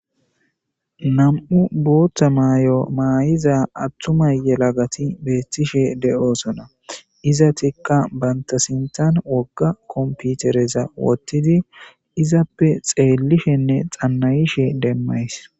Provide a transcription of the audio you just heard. nam7u bootta maayo maayiza attumay yelagati beettishe de7osona iza tikka banta sintan wogga komputereza wottidi izappe xeellishenne xannayishe demmays